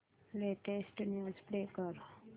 latest news play कर